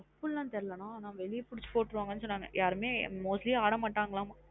அப்டின தெரியல நா அனா வெளிய புடிச்சு போற்றுவங்கனு சொன்னங்க யாருமே mostly அட மாட்டாங்க லாம்.